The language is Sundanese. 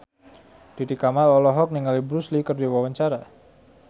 Titi Kamal olohok ningali Bruce Lee keur diwawancara